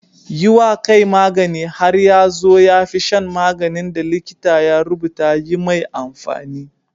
Yi wa kai magani har ya zo ya fi shan maganin da likita ya rubuta yi mai amfani.